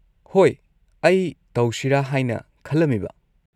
ꯍꯣꯏ, ꯑꯩ ꯇꯧꯁꯤꯔꯥ ꯍꯥꯏꯅ ꯈꯜꯂꯝꯃꯤꯕ꯫